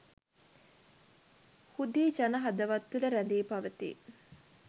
හුදී ජන හදවත් තුළ රැඳී පවතී.